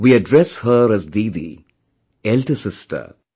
We address her as "DIDI", elder sister...